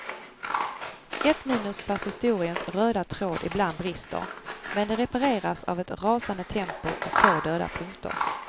Ett minus för att historiens röda tråd ibland brister, men det repareras av ett rasande tempo och få döda punkter.